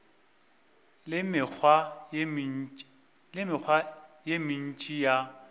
le mekgwa ye mentši ya